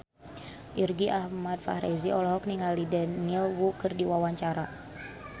Irgi Ahmad Fahrezi olohok ningali Daniel Wu keur diwawancara